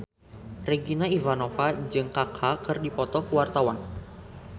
Regina Ivanova jeung Kaka keur dipoto ku wartawan